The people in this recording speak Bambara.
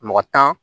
Mɔgɔ tan